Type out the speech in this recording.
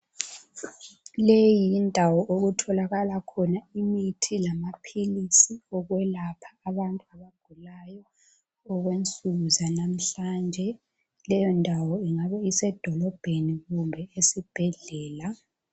leyi yindawo okutholakala khona imithi lamaphilisi okwelapha abantu abagulayo okwensuku zanamuhlanje leyo ndawo ingabe isedolobheni kumbe esibhedlela